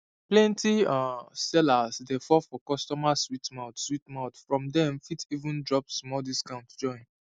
plenty um sellers dey fall for customers sweet mouth sweet mouth from dem fit even drop small discount join